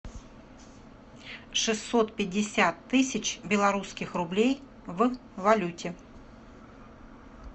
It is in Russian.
шестьсот пятьдесят тысяч белорусских рублей в валюте